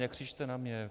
Nekřičte na mě.